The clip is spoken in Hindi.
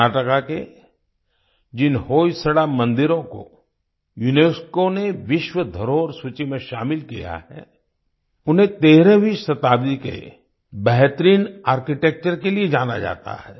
कर्नाटक के जिन होयसड़ा मंदिरों को यूनेस्को ने विश्व धरोहर सूची में शामिल किया है उन्हें13वीं शताब्दी के बेहतरीन आर्किटेक्चर के लिए जाना जाता है